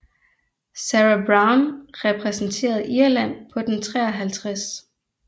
Sarah Browne repræsenterede Irland på den 53